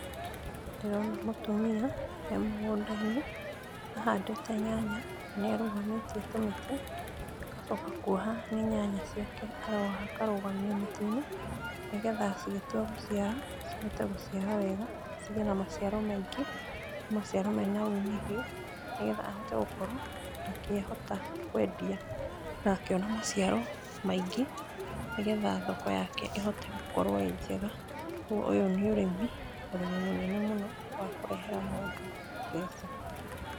Ndĩrona mũtumia emũgũnda-inĩ ahandĩte nyanya, na nĩ arũgamĩtie tũmĩtĩ, agacoka kwoha. Nĩ nyanya ciake aroha akarugamia mĩtĩ-inĩ nĩgetha cigĩtua gũciara cihote gũciara wega, cigĩe na maciaro maingĩ, na maciaro mena umithio, nĩgetha ahote gũkorwo akĩhota kwendia na akĩona maciaro maingĩ nĩgetha thoko yake ĩhote gũkorwo ĩnjega, koguo ũyũ nĩ ũrĩmi, ũrĩmi mũnene mũno wa kũrehera mũndũ mbeca.